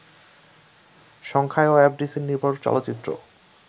সংখ্যায়ও এফডিসি-নির্ভর চলচ্চিত্র